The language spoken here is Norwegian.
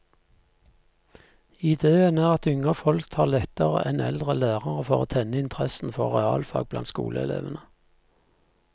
Idéen er at yngre folk har lettere enn eldre lærere for å tenne interessen for realfag blant skoleelevene.